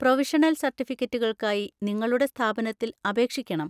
Provisional സർട്ടിഫിക്കറ്റുകൾക്കായി നിങ്ങളുടെ സ്ഥാപനത്തിൽ അപേക്ഷിക്കണം.